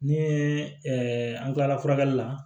Ni an kilala furakɛli la